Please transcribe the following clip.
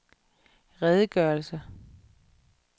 redegørelse